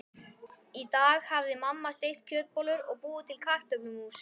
Í dag hafði mamma steikt kjötbollur og búið til kartöflumús.